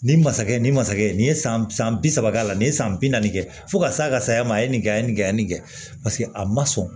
Nin masakɛ nin masakɛ nin ye san san bi saba k'a la nin ye san bi naani kɛ fo ka s'a ka saya ma a ye nin kɛ a ye nin kɛ yan nin kɛ paseke a ma sɔn